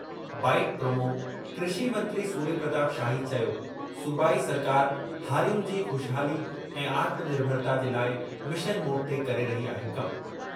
--Byte promo- कृषि मंत्री सूर्य प्रताप शाही चयो, सूबाई सरकारि हारियुनि जी ख़ुशहाली ऐं आत्मनिर्भता जे लाइ मिशन मोड ते करे रही आहे कम।